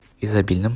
изобильном